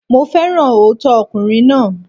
Mo féràn òótọ́ ọkùnrin náà.